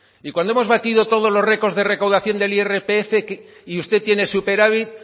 y cuando hemos batido todos los récords de recaudación del irpf y usted tiene superávit